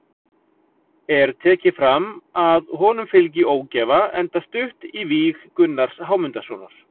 Er tekið fram að honum fylgi ógæfa enda stutt í víg Gunnars Hámundarsonar.